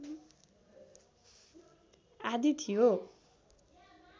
आदि थियो